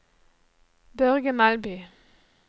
Børge Melby